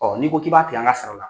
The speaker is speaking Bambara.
n'i ko k'i b'a tigɛ an ka sara la.